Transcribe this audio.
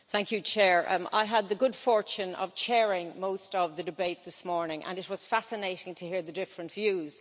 Mr President, I had the good fortune of chairing most of the debate this morning, and it was fascinating to hear the different views.